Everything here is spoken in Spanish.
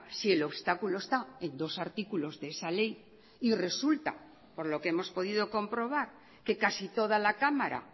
si el obstáculo está en dos artículos de esa ley y resulta por lo que hemos podido comprobar que casi toda la cámara